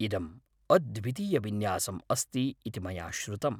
इदम् अद्वितीयविन्यासम् अस्ति इति मया श्रुतम्।